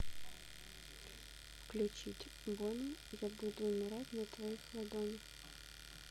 включить бони я буду умирать на твоих ладонях